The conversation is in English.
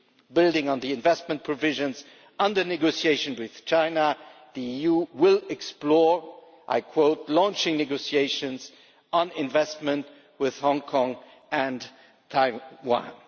Building on the investment provisions under negotiation with China, the EU will explore, and I quote, launching negotiations on investment with Hong Kong and Taiwan'.